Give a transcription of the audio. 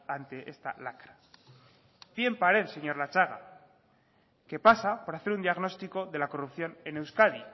ante esta lacra pie en pared señor latxaga que pasa por hacer un diagnóstico de la corrupción en euskadi